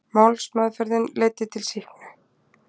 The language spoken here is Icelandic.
Málsmeðferðin leiddi til sýknu